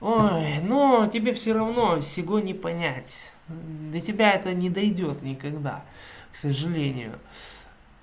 ой ну тебе всё равно сегодня понять до тебя это не дойдёт никогда сожалению